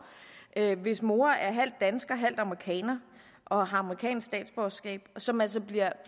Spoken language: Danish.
hvis mor er halvt dansker og halvt amerikaner og har amerikansk statsborgerskab og som altså bliver